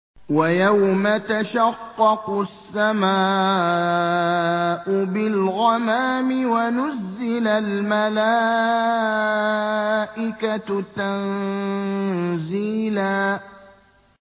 وَيَوْمَ تَشَقَّقُ السَّمَاءُ بِالْغَمَامِ وَنُزِّلَ الْمَلَائِكَةُ تَنزِيلًا